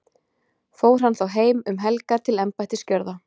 Fór hann þá heim um helgar til embættisgjörða.